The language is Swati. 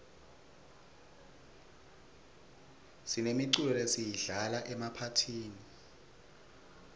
sinemiculo lesiyidlala emaphathini